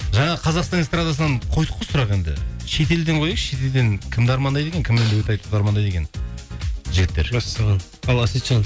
жаңа қазақстан эстрадасынан қойдық қой сұрақ енді шетелден қояйықшы шетелден кімді армандайды екен кіммен дуэт айтуды армандайды екен жігіттер мәссаған ал әсетжан